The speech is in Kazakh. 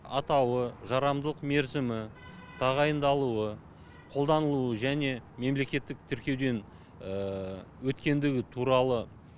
атауы жарамдылық мерзімі тағайындалуы қолданылуы және мемлекеттік тіркеуден өткендігі туралы